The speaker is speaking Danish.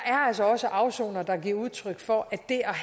altså også afsonere der giver udtryk for at det